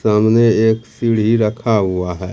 सामने एक सीढ़ी रखा हुआ है।